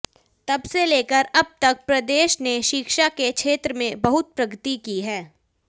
तब से लेकर अब तक प्रदेश ने शिक्षा के क्षेत्र में बहुत प्रगति की है